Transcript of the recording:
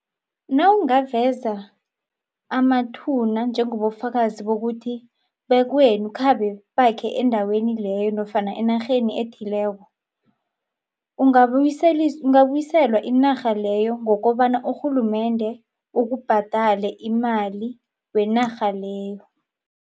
Nawungaveza amathuna njengobufakazi bokuthi bekwenu khabe bakhe endaweni leyo nofana enarheni ethileko ungabuyiselwa inarha leyo ngokobana urhulumende ukubhadale imali wenarha leyo.